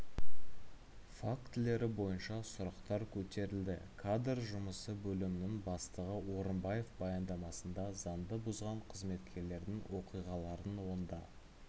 фактілері бойынша сұрақтар көтерілді кадр жұмысы бөлімінің бастығы орынбаев баяндамасында заңды бұзған қызметкерлердің оқиғаларын онда